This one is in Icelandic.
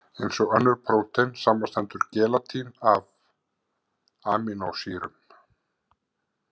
Eins og önnur prótein, samanstendur gelatín af amínósýrum.